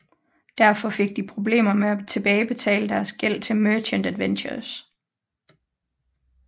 Derfor fik de problemer med at tilbagebetale deres gæld til Merchant Adventurers